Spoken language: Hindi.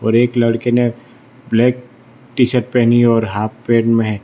एक लड़के ने ब्लैक टी शर्ट पहनी है और हाफ पैंट में है।